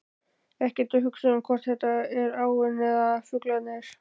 Ekkert hugsa um hvort þetta er áin eða fuglarnir.